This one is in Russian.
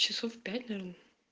часов пять наверное